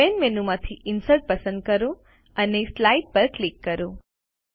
main menu માંથીInsert પસંદ કરો અને સ્લાઇડ પર ક્લિક કરો